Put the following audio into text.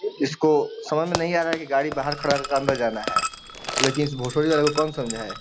इसको समझ में नहीं आ रहा है की गाड़ी बाहर खड़ा कर के अंदर जाना है। लेकिन इस भोसरी वाले को कौन समझाए।